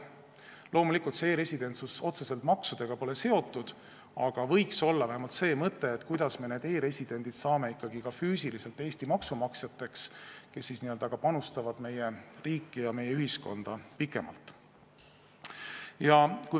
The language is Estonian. Loomulikult, e-residentsus pole otseselt maksudega seotud, aga meil võiks olla vähemalt mõte, kuidas me need e-residendid saame ikkagi ka füüsiliselt Eesti maksumaksjateks, kes meie riiki ja meie ühiskonda pikemalt panustavad.